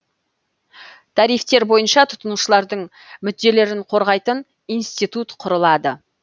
тарифтер бойынша тұтынушылардың мүдделерін қорғайтын институт құрылады